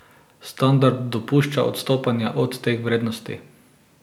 Standard dopušča odstopanja od teh vrednosti.